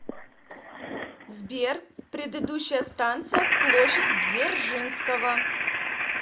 сбер предыдущая станция площадь дзержинского